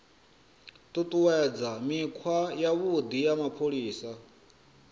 ṱuṱuwedza mikhwa yavhuḓi ya mapholisa